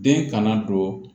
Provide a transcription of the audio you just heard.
Den kana don